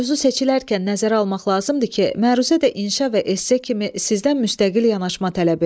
Mövzu seçilərkən nəzərə almaq lazımdır ki, məruzə də inşa və esse kimi sizdən müstəqil yanaşma tələb eləyir.